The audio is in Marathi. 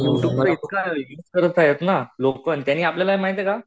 यु ट्यूबचा इतका त्याने आपल्याला माहिते का